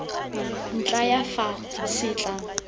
ntlha ya fa se tla